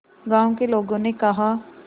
गांव के लोगों ने कहा